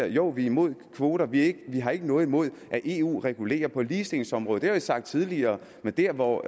jo vi er imod kvoter vi har ikke noget imod at eu regulerer på ligestillingsområdet det har vi sagt tidligere men dér hvor